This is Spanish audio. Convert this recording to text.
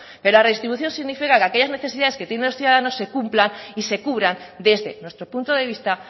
pero la redistribución significa que aquellas necesidades que tengan los ciudadanos se cumplan y se cubran desde nuestro punto de vista